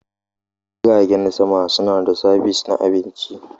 Jiragen sama suna da sabis na abinci.